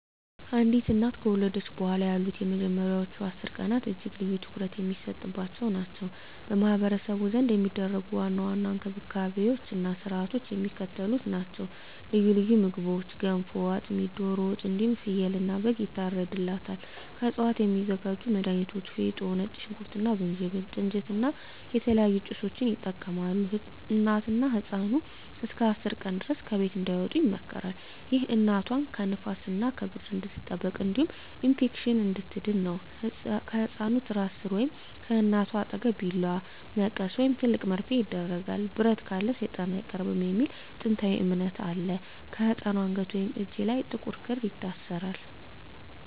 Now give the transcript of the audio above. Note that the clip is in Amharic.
አንዲት እናት ከወለደች በኋላ ያሉት የመጀመሪያዎቹ 10 ቀናት እጅግ ልዩና ትኩረት የሚሰጥባቸው ናቸው። በማኅበረሰቡ ዘንድ የሚደረጉ ዋና ዋና እንክብካቤዎችና ሥርዓቶች የሚከተሉት ናቸው፦ ልዩ ልዩ ምግቦች ገንፎ፣ አጥሚት፣ ዶሮ ወጥ እንዲሁም ፍየልና በግ ይታርድላታል። ከእፅዋት የሚዘጋጁ መድሀኒቶች ፌጦ፣ ነጭ ሽንኩርት እና ዝንጅብል፣ ጥንጅት እና የተለያዩ ጭሶችን ይጠቀማሉ። እናትና ህፃኑ እስከ 10 ቀን ድረስ ከቤት እንዳይወጡ ይመከራል። ይህ እናቷ ከንፋስና ከብርድ እንድትጠበቅ እንዲሁም ከኢንፌክሽን እንድትድን ነው። ከህፃኑ ትራስ ሥር ወይም ከእናቷ አጠገብ ቢላዋ፣ መቀስ ወይም ትልቅ መርፌ ይደረጋል። "ብረት ካለ ሰይጣን አይቀርብም" የሚል ጥንታዊ እምነት አለ። በህፃኑ አንገት ወይም እጅ ላይ ጥቁር ክር ይታሰራል።